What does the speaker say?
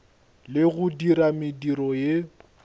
le go dira mediro ye